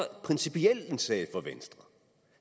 principiel en sag for venstre